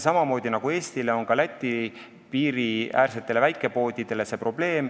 Samamoodi nagu Eestile, on see probleem ka Läti piiriäärsetele väikepoodidele.